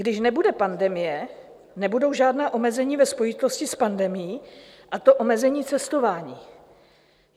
Když nebude pandemie, nebudou žádná omezení ve spojitosti s pandemií, a to omezení cestování.